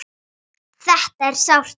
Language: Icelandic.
Þetta er sárt.